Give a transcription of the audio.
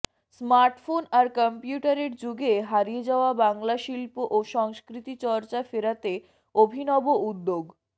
smartphone আর কম্পিউটারের যুগে হারিয়ে যাওয়া বাংলার শিল্প ও সংস্কৃতি চর্চা ফেরাতে অভিনব উদ্যোগ